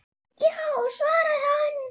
Já, svaraði hann.